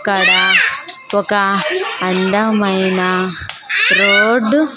ఇక్కడ ఒక అందమైన రోడ్డు --